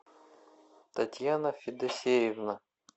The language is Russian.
татьяна федосеевна